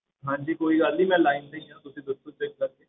ਹਾਂਜੀ ਕੋਈ ਗੱਲ ਨੀ ਮੈਂ line ਤੇ ਹੀ ਹਾਂ ਤੁਸੀਂ ਦੱਸੋ check ਕਰਕੇ